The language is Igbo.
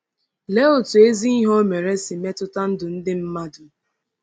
Lee otú ezi ihe o mere si metụta ndụ ndị mmadụ!